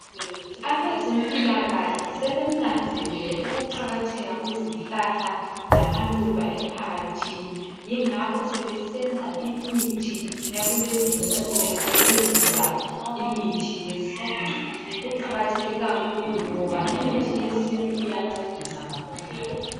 Abezempilakahle sebenanzelele ukuqakatheka kwezihlahla lamaluba emphakathini, yingakho sebesenza imithi yakulezi insuku besebenzisa imithi yesintu. Kuqakatheke kakhulu ngoba imithi yesintu iyancedisa kakhulu.